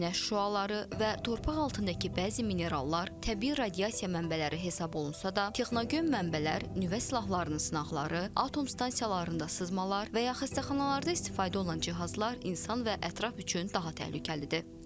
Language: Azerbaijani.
Günəş şüaları və torpaq altındakı bəzi minerallar təbii radiasiya mənbələri hesab olunsa da, texnogen mənbələr, nüvə silahlarının sınaqları, atom stansiyalarında sızmalar və ya xəstəxanalarda istifadə olunan cihazlar insan və ətraf üçün daha təhlükəlidir.